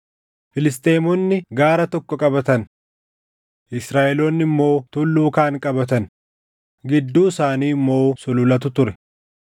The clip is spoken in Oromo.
Filisxeemonni gaara tokko qabatan; Israaʼeloonni immoo tulluu kaan qabatan; gidduu isaanii immoo sululatu ture.